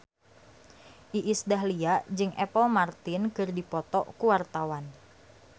Iis Dahlia jeung Apple Martin keur dipoto ku wartawan